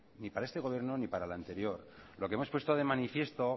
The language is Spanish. ni para este gobierno ni para el anterior lo que hemos puesto de manifiesto